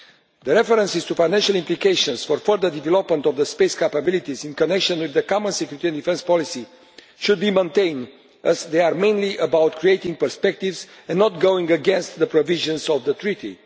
The references to financial implications for further development of the space capabilities in connection with the Common Security and Defence Policy should be maintained, as they are mainly about creating perspectives and not going against the provisions of the Treaty.